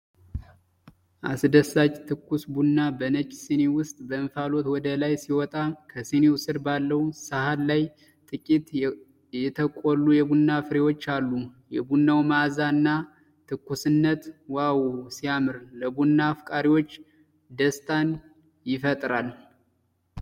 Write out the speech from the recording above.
አስደሳች ትኩስ ቡና በነጭ ሲኒ ውስጥ በእንፋሎት ወደ ላይ ሲወጣ ከሲኒው ስር ባለው ሰሃን ላይ ጥቂት የተቆሉ የቡና ፍሬዎች አሉ። የቡናው መዓዛ እና ትኩስነት 'ዋው ሲያምር' ። ለቡና አፍቃሪዎች ደስታን ይፈጥራል።